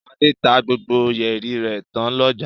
Ṣadé tá gbogbo yẹ̀rì rẹ̀ tán lọ́jà.